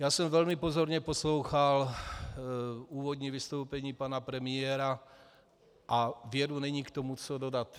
Já jsem velmi pozorně poslouchal úvodní vystoupení pana premiéru a věru, není k tomu co dodat.